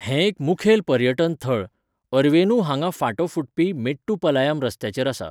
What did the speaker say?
हें एक मुखेल पर्यटन थळ, अरवेनू हांगा फांटो फुटपी मेट्टुपलायम रस्त्याचेर आसा.